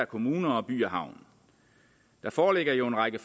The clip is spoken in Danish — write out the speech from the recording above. kommuner og by havn der foreligger jo en række